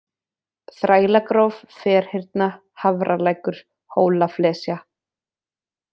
Þrælagróf, Ferhyrna, Hafralækur, Hólaflesja